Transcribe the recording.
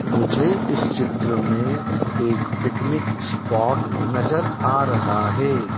मुझे इस चित्र में एक पिकनिक स्पॉट नजर आ रहा है।